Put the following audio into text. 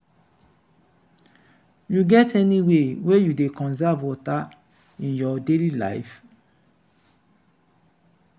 you get any way you dey conserve water in your daily life?